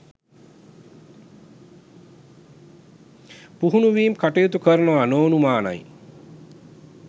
පුහුණුවීම් කටයුතු කරනවා නොඅනුමානයි.